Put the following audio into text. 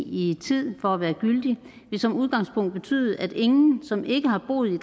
i tiden for at være gyldig vil som udgangspunkt betyde at ingen som ikke har boet i